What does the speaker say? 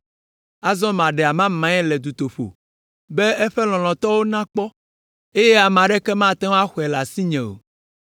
Azɔ maɖe amamae le dutoƒo be eƒe lɔlɔ̃tɔwo nakpɔ, eye ame aɖeke mate ŋu axɔe le asinye o.